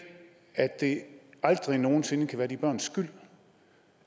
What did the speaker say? at det aldrig nogen sinde kan være de børns skyld